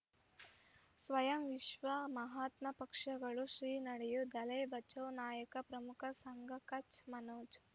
ಸ್ವಯಂ ವಿಶ್ವ ಮಹಾತ್ಮ ಪಕ್ಷಗಳು ಶ್ರೀ ನಡೆಯೂ ದಲೈ ಬಚೌ ನಾಯಕ ಪ್ರಮುಖ ಸಂಘ ಕಚ್ ಮನೋಜ್